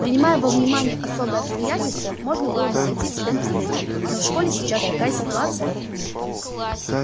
принимая во внимание особые обстоятельства можно было бы пойти тебе навстречу но в школе сейчас такая ситуация